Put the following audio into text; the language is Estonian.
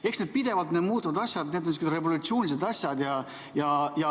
Eks need pidevalt muutuvad asjad ole sellised revolutsioonilised asjad.